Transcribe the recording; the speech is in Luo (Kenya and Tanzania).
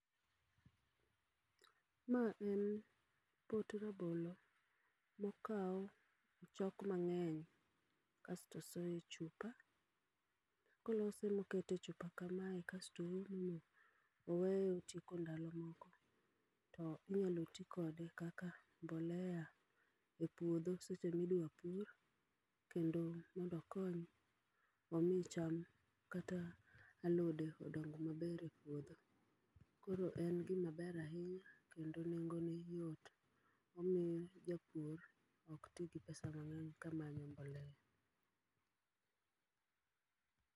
Ma en pot rabolo mokaw ochok mang'eng kasto osoye chupa. Kolose mokete e chupa kamae kasto oume oweye otieko ndalo moko, to inyalo ti kode kaka mbolea e puodho seche midwa pur. Kendo mondo okony omi cham kata alode odong maber e puodho. Koro en gima ber ahinya kendo nengo ne yot, omiyo japur ok ti gi pesa mang'eny ka manyo mbolea.